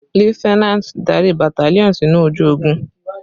Lieutenant, darí battalion sinu oju ogun!